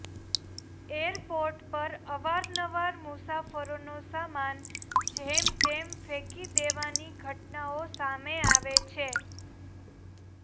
airport પર અવાર નવાર મુસાફરોનો સામાન જેમ તેમ ફેંકી દેવાની ઘટનાઓ સામે આવે છે